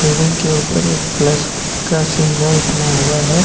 Building के ऊपर एक प्लस का सिंबॉल बना हुआ है।